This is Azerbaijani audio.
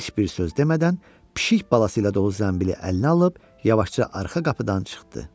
Heç bir söz demədən pişik balası ilə dolu zəmbili əlinə alıb yavaşca arxa qapıdan çıxdı.